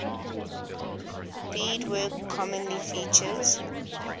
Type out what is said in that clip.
beadwork commonly features